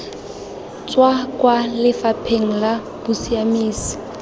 tswa kwa lefapheng la bosiamisi